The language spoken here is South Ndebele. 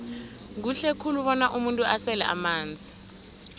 kuhle khulu bona umuntu asele amanzi